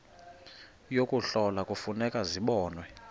yokuhlola kufuneka zibonwe